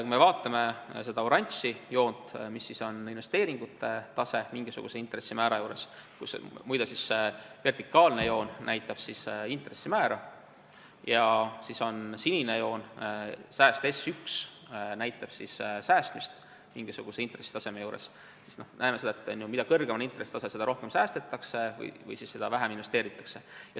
Kui vaatame seda oranži joont, mis tähistab investeeringute taset mingisuguse intressimäära juures – muide, see vertikaalne joon näitab intressimäära –, ja vaatame seda sinist joont, sääst S1, mis tähistab säästmist mingisuguse intressitaseme juures, siis näeme seda, et mida kõrgem on intressitase, seda rohkem säästetakse või seda vähem investeeritakse.